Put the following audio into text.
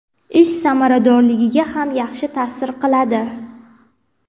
ish samaradorligiga ham yaxshi ta’sir qiladi.